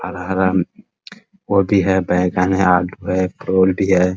हरा हरा पौधी है बैंगन हैआलू है है |